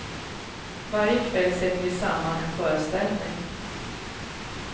Varje kväll sätter vi samman en föreställning.